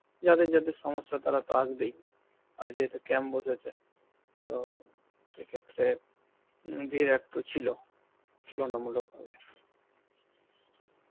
যাদের যাদের সমস্যা তারা তো আসবেই আর যেহেতু camp বসেছে তো সেই ক্ষেত্রে হম ভীড় একটু ছিল তুলনামূলক ভাবে.